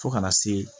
Fo kana se